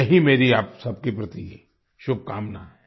यही मेरी आप सबके प्रति शुभकामना है